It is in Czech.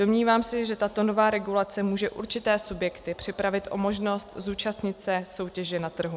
Domnívám se, že tato nová regulace může určité subjekty připravit o možnost zúčastnit se soutěže na trhu.